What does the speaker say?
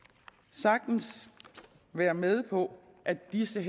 sagtens være med på at disse